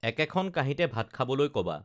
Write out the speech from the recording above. একেখন কাহীঁতে ভাত খাবলৈ ক'বা